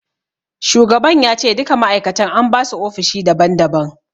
Shugaban ya ce duka ma'aikatan an basu ofishi daban daban.